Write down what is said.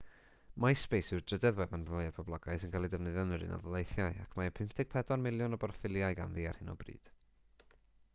myspace yw'r drydedd wefan fwyaf poblogaidd sy'n cael ei defnyddio yn yr ud ac mae 54 miliwn o broffiliau ganddi ar hyn o bryd